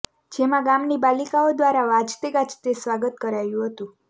જેમાં ગામની બાલિકાઓ દ્વારા વાજતે ગાજતે સ્વાગત કરાયું હતું